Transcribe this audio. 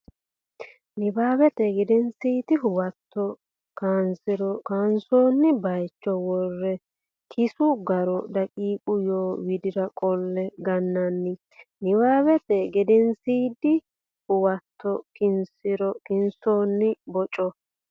Nabbawate Gedensiidi Huwato kinsiro kinsoonni baycho worre kissu garo daqiiqa yoo widira qolle gannanni Nabbawate Gedensiidi Huwato kinsiro kinsoonni baycho.